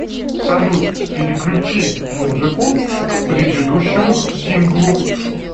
салют переключи музыку к предыдущему синглу